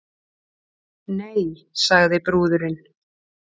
Nei, sagði brúðurin.